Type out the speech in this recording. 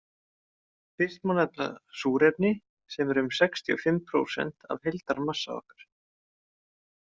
Fyrst má nefna súrefni sem er um sextíu og fimm prósent af heildarmassa okkar.